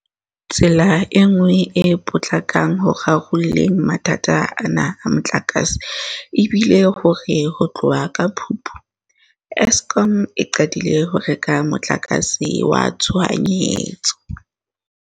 Tsela e nngwe e potlakang ho rarolleng mathata ana a motlakase e bile hore ho tloha ka Phupu, Eskom e qadile ho reka motlakase wa tshohanyetso.